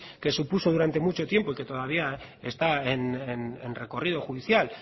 que supuso durante mucho tiempo y que todavía está en recorrido judicial